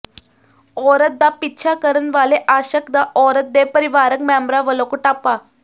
ਔਰਤ ਦਾ ਪਿੱਛਾ ਕਰਨ ਵਾਲੇ ਆਸ਼ਕ ਦਾ ਔਰਤ ਦੇ ਪਰਿਵਾਰਕ ਮੈਂਬਰਾਂ ਵਲੋਂ ਕੁਟਾਪਾ